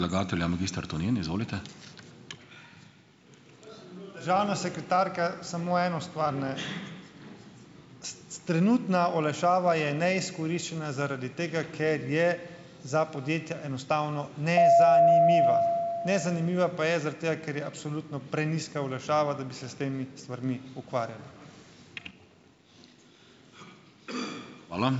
Državna sekretarka, samo eno stvar, ne. Trenutna olajšava je neizkoriščena zaradi tega, ker je za podjetja enostavno nezanimiva. Nezanimiva pa je zaradi tega, ker je absolutno prenizka olajšava, da bi se s temi stvarmi ukvarjali.